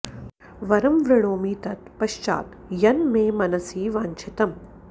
वरं वृणोमि तत् पश्चात् यन् मे मनसि वाञ्च्छितम्